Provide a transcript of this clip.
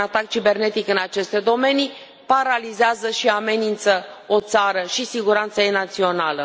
Un atac cibernetic în aceste domenii paralizează și amenință o țară și siguranța ei națională.